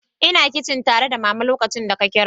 Ina kicin tare da Mama lokacin da ka kira.